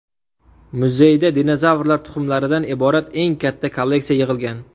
Muzeyda dinozavrlar tuxumlaridan iborat eng katta kolleksiya yig‘ilgan.